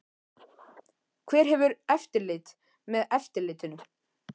Hver hefur eftirlit með eftirlitinu?